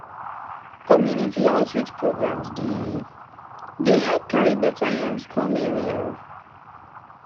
community outreach programs dey dey help carry beta yarns come area.